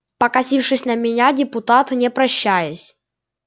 покосившись на меня депутат не прощаясь